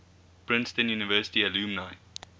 princeton university alumni